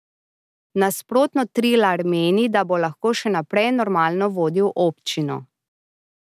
Nasprotno Trilar meni, da bo lahko še naprej normalno vodil občino.